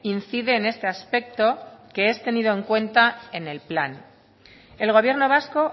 incide en este aspecto que es tenido en cuenta en el plan el gobierno vasco